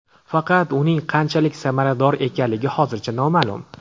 Faqat uning qanchalik samarador ekanligi hozircha noma’lum.